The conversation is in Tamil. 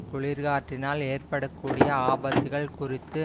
குளிர்காற்றினால் ஏற்பட கூடிய ஆபத்துக்கள் குறித்து